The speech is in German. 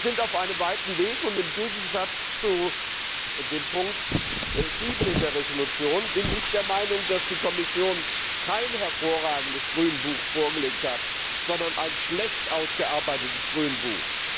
Wir sind auf einem weiten Weg, und im Gegensatz zu dem Ziffer 7 der Entschließung bin ich der Meinung, dass die Kommission kein hervorragendes Grünbuch vorgelegt hat, sondern ein schlecht ausgearbeitetes Grünbuch.